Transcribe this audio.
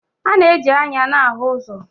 A na-eji anya na-ahụ ụzọ.